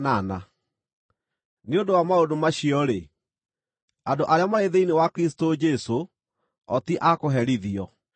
Nĩ ũndũ wa maũndũ macio-rĩ, andũ arĩa marĩ thĩinĩ wa Kristũ Jesũ o ti a kũherithio,